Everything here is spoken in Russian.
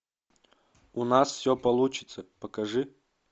у нас все получится покажи